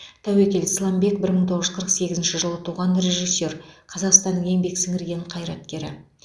тәуекел сламбек бір мың тоғыз жүз қырық сегізінші жылы туған режиссер қазақстанның еңбек сіңірген қайраткері